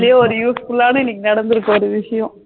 பன்னதுலையே useful ஆனா நடந்துருக்கு ஒரு விசியம்.